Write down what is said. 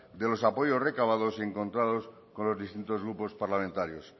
de los apoyos recabados y encontrados con los distintos grupos parlamentarios